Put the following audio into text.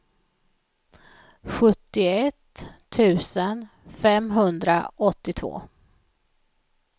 sjuttioett tusen femhundraåttiotvå